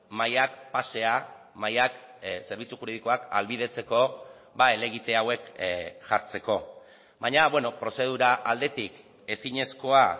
mahaiak pasea mahaiak zerbitzu juridikoak ahalbidetzeko helegite hauek jartzeko baina prozedura aldetik ezinezkoa